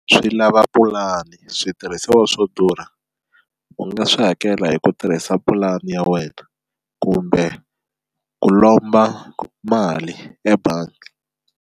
Swi lava pulani switirhisiwa swo durha u nga swi hakela hi ku tirhisa pulani ya wena kumbe ku lomba mali ebangi.